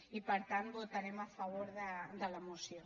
i per tant votarem a favor de la moció